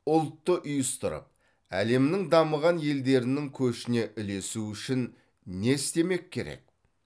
ұлтты ұйыстырып әлемнің дамыған елдерінің көшіне ілесу үшін не істемек керек